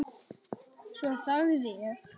Svo þagði ég.